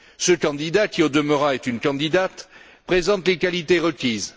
Ce candidat qui, au demeurant, est une candidate présente les qualités requises.